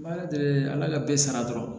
N bɛ ala deli ala ka bɛɛ sara dɔrɔn